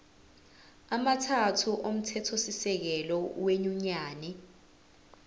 amathathu omthethosisekelo wenyunyane